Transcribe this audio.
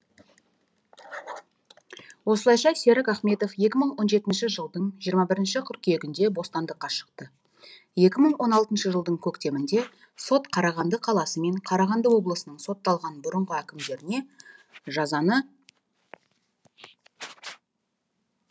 осылайша серік ахметов екі мың он жетінші жылдың жиырма бірінші қыркүйегінде бостандыққа шықты екі мың он алтыншы жылдың көктемінде сот қарағанды қаласы мен қарағанды облысының сотталған бұрынғы әкімдеріне жазаны